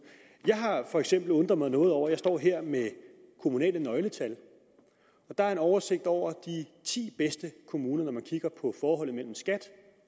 jeg har for eksempel undret mig over noget jeg står her med kommunale nøgletal og der er en oversigt over de ti bedste kommuner når man kigger på forholdet mellem skat